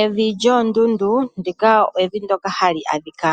Evi lyoondundu, ndika olyo evi ndyoka hali adhika